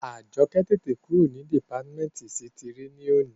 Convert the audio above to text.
Àjọkẹ́ tètè kúrò ní dìpátímẹ́ǹtì ísítìrì ní òní